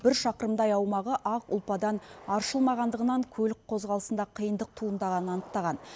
бір шақырымдай аумағы ақ ұлпадан аршылмағандығынан көлік қозғалысында қиындық туындағанын анықтаған